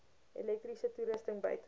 elektriese toerusting buite